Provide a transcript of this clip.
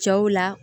Cɛw la